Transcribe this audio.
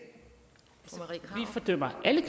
gælder alle